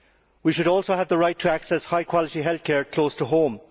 We should also have the right to access high quality health care close to home.